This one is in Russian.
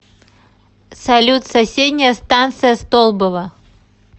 салют соседняя станция столбово